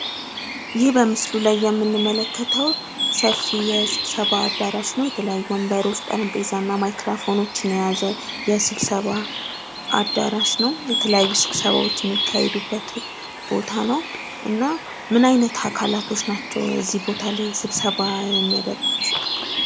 ይህ በምስሉ ላይ የምንመለከተው ሰፊ የስብሰባ አዳራሽ ነው። የተለያዩ ወንበሮች፣ ጠረጴዛ እና ማክራፎኖችን የያዘ የስብሰባ አድራሽ ነው። የተለያዩ ስብሰባዎች የሚካሄድበት ቦታ ነው። እና ምን አይነት አካላቶች ናቸው እዚህ ቦታ ስብሰባ የሚያደርጉት?